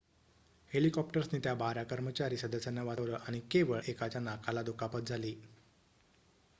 हेलिकॉप्टर्सनी त्या बारा कर्मचारी सदस्यांना वाचवलं आणि केवळ एकाच्या नाकाला दुखापत झाली